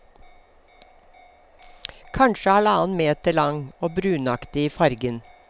Kanskje halvannen meter lang, og brunaktig i fargen.